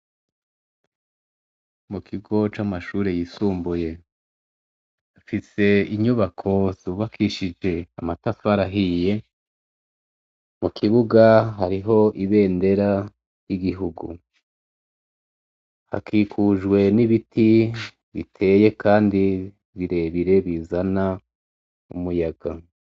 Mu kigo c'amashure yisumbuye. Bafise inyubako zubakishije amatafari ahiye. Mu kibuga hariho ibendera y'igihugu. Hakikujwe n'ibiti biteye kandi birebire bizana umuyaga.